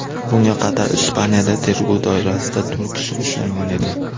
Bunga qadar Ispaniyada tergov doirasida to‘rt kishi ushlangan edi.